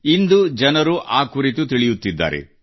ಇಂದು ಜನರು ಆ ಕುರಿತು ತಿಳಿಯುತ್ತಿದ್ದಾರೆ